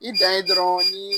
I dan ye dɔrɔn ni